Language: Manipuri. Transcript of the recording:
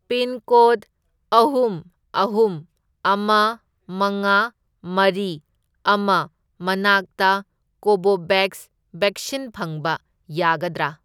ꯄꯤꯟꯀꯣꯗ ꯑꯍꯨꯝ, ꯑꯍꯨꯝ, ꯑꯃ, ꯃꯉꯥ, ꯃꯔꯤ, ꯑꯃ ꯃꯅꯥꯛꯇ ꯀꯣꯚꯣꯚꯦꯛꯁ ꯕꯦꯛꯁꯤꯟ ꯐꯪꯕ ꯌꯥꯒꯗ꯭ꯔꯥ?